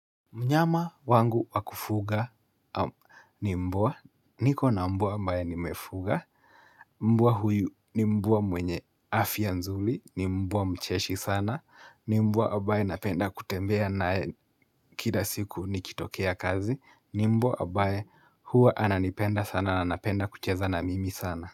Mnyama wangu wakufuga ni mbwa, niko na mbwa ambaye nimefuga, mbwa huyu ni mbwa mwenye afya nzuri, ni mbwa mcheshi sana, ni mbwa ambaye napenda kutembea naye kila siku nikitokea kazi, ni mbwa ambaye huwa ananipenda sana na anapenda kucheza na mimi sana.